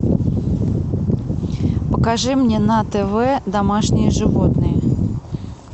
покажи мне на тв домашние животные